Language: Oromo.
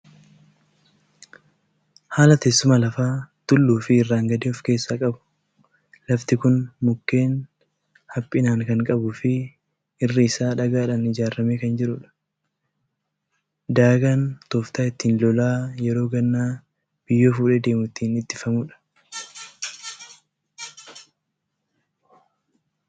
Haala teessuma lafaa tulluu fi irraan gadee ofkeessaa qabu. Lafti kun mukeen haphinaan kan qabuu fi irri isaa daagaadhaan ijaaramee kan jirudha. Daagaan tooftaa ittiin lolaan yeroo gannaa biyyoo fuudhee deemu ittiin ittifamudha.